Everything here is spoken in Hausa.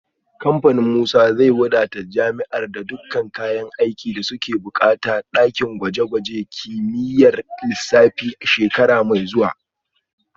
Kamfanin Musa zai wadata jami’ar da dukkan kayan aikin da suke bukata na dakin gwaje-gwajen kimiyyar lissafi a shekara mai zuwa